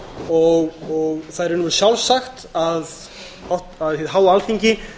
og það er í raun sjálfsagt að hið háa alþingi